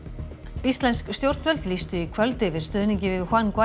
íslensk stjórnvöld lýstu í kvöld yfir stuðningi við